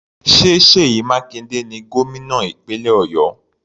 Ṣé Seyi Makinde ni gómìnà ìpínlẹ̀ Ọ̀yọ́?